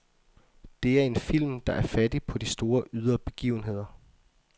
Det er en film, der er fattig på de store ydre begivenheder.